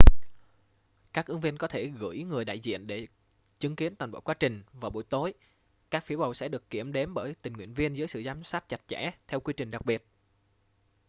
các ứng viên có thể gửi người đại diện để chứng kiến toàn bộ quá trình vào buổi tối các phiếu bầu sẽ được kiểm đếm bởi tình nguyện viên dưới sự giám sát chặt chẽ theo quy trình đặc biệt